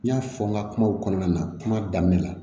N y'a fɔ n ka kumaw kɔnɔna na kuma daminɛ la